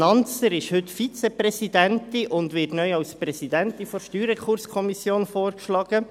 Nanzer ist heute Vizepräsidentin und wird neu als Präsidentin der Steuerrekurskommission (StRK) vorgeschlagen.